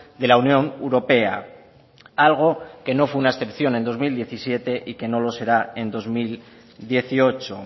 de la unión europea algo que no fue una excepción en dos mil diecisiete y que no lo será en dos mil dieciocho